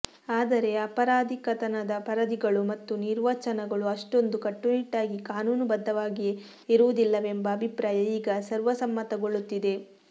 ಆದರೆ ಅಪರಾಧಿಕತನದ ಪರಿಧಿಗಳು ಮತ್ತು ನಿರ್ವಚನಗಳು ಅಷ್ಟೊಂದು ಕಟ್ಟುನಿಟ್ಟಾಗಿ ಕಾನೂನುಬದ್ಧವಾಗಿಯೇ ಇರುವುದಿಲ್ಲವೆಂಬ ಅಭಿಪ್ರಾಯ ಈಗ ಸರ್ವಸಮ್ಮತಗೊಳ್ಳುತ್ತಿದೆ